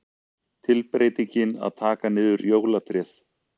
Tilbreytingin að taka niður jólatréð.